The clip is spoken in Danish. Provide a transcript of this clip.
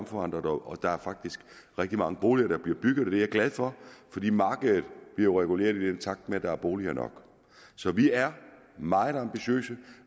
forandret og der er faktisk rigtig mange boliger der bliver bygget og det er jeg glad for fordi markedet bliver jo reguleret i takt med at der er boliger nok så vi er meget ambitiøse